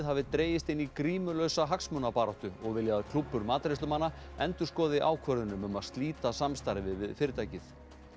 hafi dregist inn í grímulausa hagsmunabaráttu og vilja að klúbbur matreiðslumanna endurskoði ákvörðun um um að slíta samstarfi við fyrirtækið